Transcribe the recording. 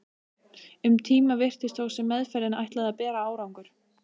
Um tíma virtist þó sem meðferðin ætlaði að bera árangur.